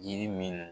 Jiri min